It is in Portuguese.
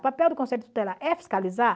O papel do Conselho Tutelar é fiscalizar?